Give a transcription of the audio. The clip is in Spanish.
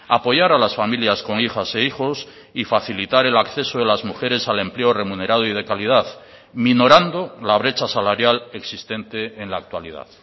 apoyar a las familias con hijas e hijos y facilitar el acceso de las mujeres al empleo remunerado y de calidad minorando la brecha salarial existente en la actualidad